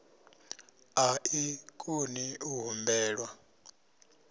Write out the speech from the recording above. a i koni u humbelwa